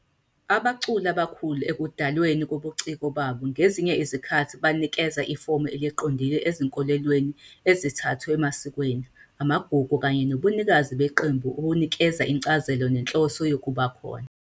Abaculi abakhulu ekudalweni kobuciko babo ngezinye izikhathi banikeza ifomu eliqondile ezinkolelweni ezithathwe emasikweni, amagugu, kanye nobunikazi beqembu obunikeza incazelo nenhloso yokuba khona.